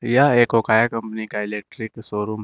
यह एक ओकाया कंपनी का इलेक्ट्रिक शोरूम है।